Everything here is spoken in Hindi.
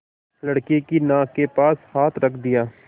लड़के की नाक के पास हाथ रख दिया